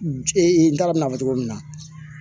n t'a dɔn n bɛn'a fɔ cogo min na